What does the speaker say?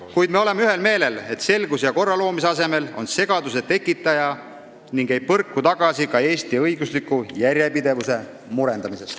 Kuid me oleme ühel meelel, et selguse ja korra loomise asemel on ta segaduse tekitaja ega põrka tagasi ka Eesti õigusliku järjepidevuse murendamise ees.